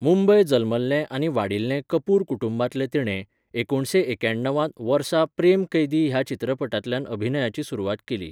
मुंबय जल्मल्ले आनी वाडिल्ले कपूर कुटुंबांतले तिणे, एकुणीसशें एक्याणवांत वर्सा प्रेम कैदी ह्या चित्रपटांतल्यान अभिनयाची सुरवात केली.